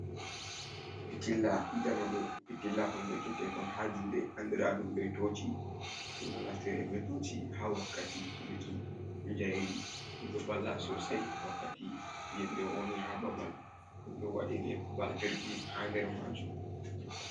Pitilla jamanu pitilla Hon jogee tekon ha juɗe andira ɗum be toci, ɗum ɗo naftire be toci ha wakkati heɓuki jairi ɗum ɗo vala sosei wakkati nyibre woni ha babal, den ɗo waɗi ne batirji ha nder majum.